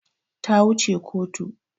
Ta wu ce kotu